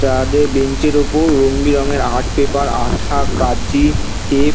তাদের বেঞ্চ - এর ওপর রোঙ বেরঙের আর্ট পেপার আঁঠা কাঁচি টেপ --